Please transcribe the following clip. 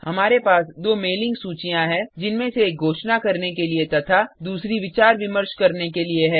हमारे पास दो मेलिंग सूचियाँ हैं जिनमें से एक घोषणा करने के लिए तथा दूसरी विचार विमर्श करने के लिए है